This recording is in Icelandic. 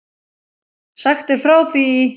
Sagt er frá því í